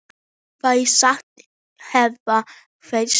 Fé sagt hafa fennt.